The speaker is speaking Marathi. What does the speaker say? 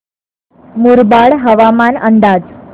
मुरबाड हवामान अंदाज